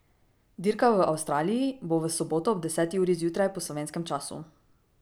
Dirka v Avstraliji bo v soboto ob deseti uri zjutraj po slovenskem času.